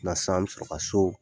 O la sisan an bɛ sɔrɔ ka so